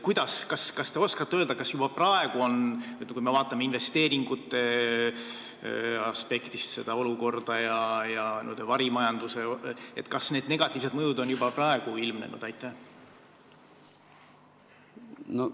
Kas te oskate öelda, et kui me vaatame seda olukorda investeeringute ja n-ö varimajanduse aspektist, kas siis negatiivsed mõjud on juba praegu ilmnenud?